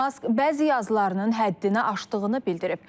Mask bəzi yazılarının həddini aşdığını bildirib.